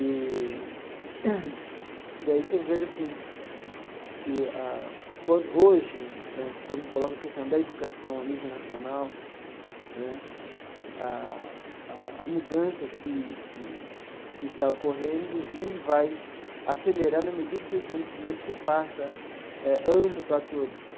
Eee e daí que eu vejo assim que a, hoje né, quando coloca a questão da educação a nível nacional né, a a mudança que que que está ocorrendo e vai acelerar na medida que o conhecimento se faça amplo para todos.